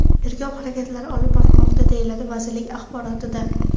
Tergov harakatlari olib borilmoqda”, deyiladi vazirlik axborotida.